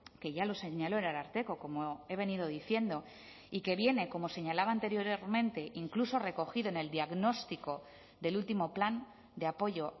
que ya lo señaló el ararteko como he venido diciendo y que viene como señalaba anteriormente incluso recogido en el diagnóstico del último plan de apoyo